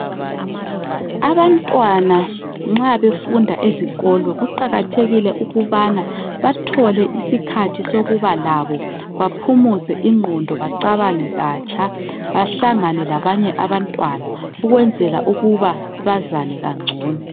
Abantwana nxa befunda ezikolo kuqakathekilé ukubana bathole isikhathi sokuba labo baphumuze ingqondo bacabange katsha .Bahlangane labanye abantwana ukwenzela ukuba bazane kangcono.